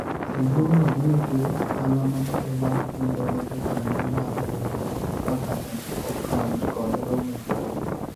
riwruogno biro chulo ohala mamalo mar kungo ne jokanyo mar riwruok kaka ne okal kod romo maduong'